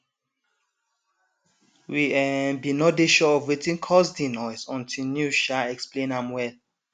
we um bin nor dey sure of wetin cause di noise until news um explain am well